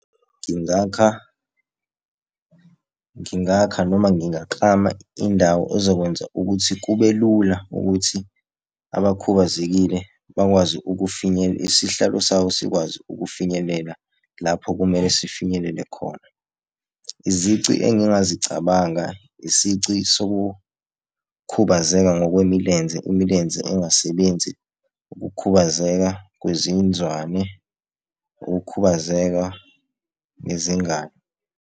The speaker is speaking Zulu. Ngingakha, ngingakha noma ngingaklama indawo ezokwenza ukuthi kube lula ukuthi abakhubazekile bakwazi isihlalo sabo sikwazi ukufinyelela lapho kumele sifinyelele khona. Izici engingazicabanga, isici sokukhubazeka ngokwemilenze, imilenze engasebenzi, ukukhubazeka kwezinzwane, ukukhubazeka ngezingalo.